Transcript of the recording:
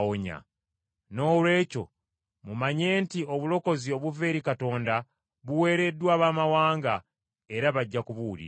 “Noolwekyo mumanye nti obulokozi obuva eri Katonda buweereddwa Abaamawanga era bajja kubuwuliriza.”